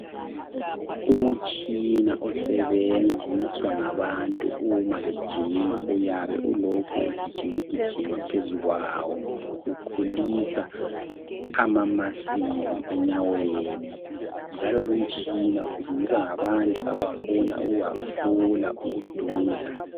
Umutshina osebenziswa ngabantu umabejima uyabe ulokhu ugijima gijima phezukwawo ukhulisa amamasili enyaweni njalo lumtshina usetshenziswa ngabantu abafuna ukuhafula ubududla.